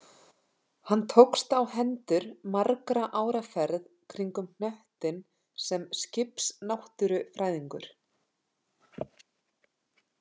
Hann tókst á hendur margra ára ferð kringum hnöttinn sem skipsnáttúrufræðingur.